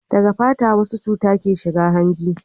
daga fata wasu cuta ke shiga hanji